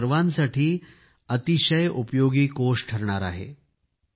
हा आपल्या सर्वांसाठी अतिशय उपयोगी कोष ठरणार आहे